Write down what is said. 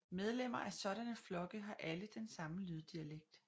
Medlemmer af sådanne flokke har alle den samme lyddialekt